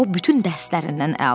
O bütün dərslərindən əla alırdı.